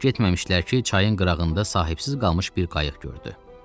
Çox getməmişdilər ki, çayın qırağında sahibsiz qalmış bir qayıq gördü.